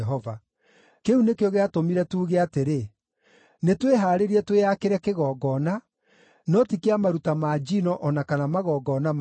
“Kĩu nĩkĩo gĩatũmire tuuge atĩrĩ, ‘Nĩtwĩhaarĩrie twĩakĩre kĩgongona, no ti kĩa maruta ma njino o na kana magongona mangĩ.’